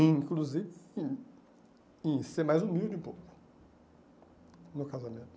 Inclusive em ser mais humilde um pouco no casamento.